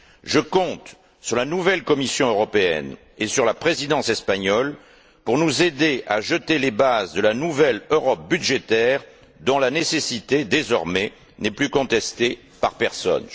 Je compte sur la nouvelle Commission européenne et sur la Présidence espagnole pour nous aider à jeter les bases de la nouvelle Europe budgétaire dont la nécessité n'est désormais plus contestée par personne.